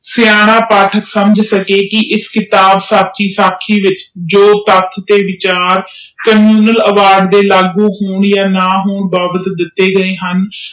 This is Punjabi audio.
ਸਿਆਣਾ ਪਾਠਕ ਸਮਝ ਸਕੇ ਕਿ ਇਸ ਕਿਤਾਬ ਸਕੀ ਸਕੀ ਦੇ ਵਿਚ ਕਾਨੂੰਨ ਐਵਾਰਡ ਦੇ ਲਾਗੂ ਹੋਣ ਆ ਨਾ ਹੋਣ ਕਰਕੇ ਦਿਤੀ ਗਏ ਹਨ